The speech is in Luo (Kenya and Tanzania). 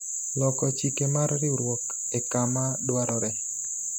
loko chike mar riwruok e kama dwarore